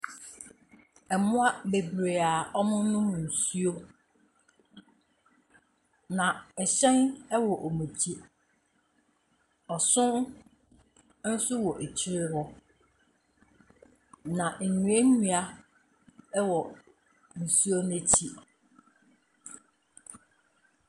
Mmoa bebree a wɔrenom nsuo, na hyɛn wɔ wɔn akyi, ɔsono nso wɔ akyire hɔ. na nnuannua wɔ nsuo no akyi.